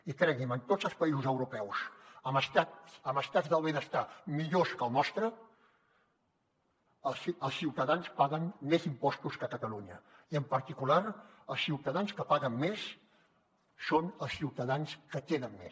i cregui’m en tots els països europeus amb estats del benestar millors que el nostre els ciutadans paguen més impostos que a catalunya i en particular els ciutadans que paguen més són els ciutadans que tenen més